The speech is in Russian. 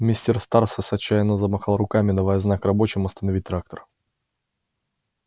мистер стразерс отчаянно замахал руками давая знак рабочим остановить трактор